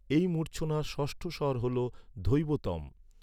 এই মূর্ছনার ষষ্ঠ স্বর হল, ধৈবতম।